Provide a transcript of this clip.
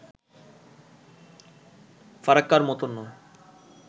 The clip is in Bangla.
ফারাক্কার মতো নয়